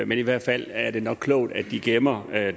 men i hvert fald er det nok klogt at de gemmer